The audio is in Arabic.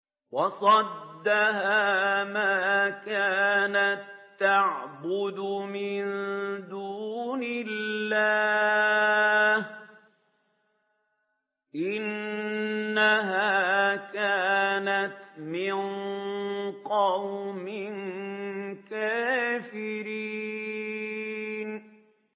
وَصَدَّهَا مَا كَانَت تَّعْبُدُ مِن دُونِ اللَّهِ ۖ إِنَّهَا كَانَتْ مِن قَوْمٍ كَافِرِينَ